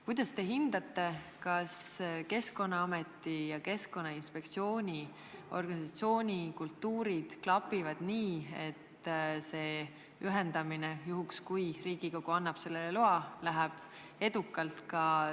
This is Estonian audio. Kuidas te hindate: kas Keskkonnaameti ja Keskkonnainspektsiooni organisatsioonikultuurid klapivad nii, et see ühendamine, juhul kui Riigikogu annab selleks loa, läheb edukalt?